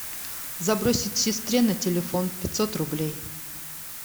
забросить сестре на телефон пятьсот рублей